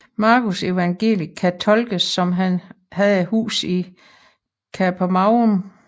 Markusevangeliet kan tolkes som han havde et hus i Kapernaum